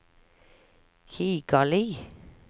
Kigali